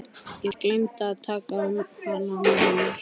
Ég gleymdi að taka hana með mér.